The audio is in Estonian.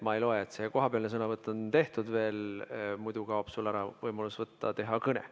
Ma ei loe, et see kohapealne sõnavõtt on juba tehtud, muidu kaob sul ära võimalus pidada kõne.